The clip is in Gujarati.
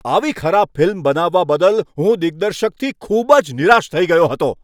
આવી ખરાબ ફિલ્મ બનાવવા બદલ હું દિગ્દર્શકથી ખૂબ જ નિરાશ થઈ ગયો હતો.